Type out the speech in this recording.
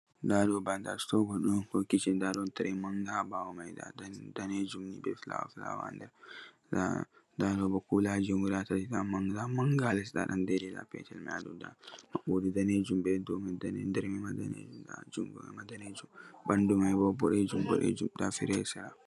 'Daa tire daneejum be penti fulawa ha dowman; d'o 'baakari ha sera. 'Daa kulaaji tati bod'eeje d'o yoyndindiri be ma'b'boole daniije ha sera mahol.